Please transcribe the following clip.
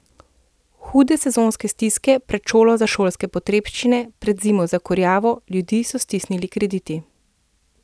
Hude so sezonske stiske, pred šolo za šolske potrebščine, pred zimo za kurjavo, ljudi so stisnili krediti.